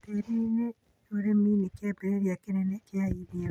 tĩĩri-inĩ. ũrĩmi nĩ kĩambĩrĩria kĩnene kĩa irio.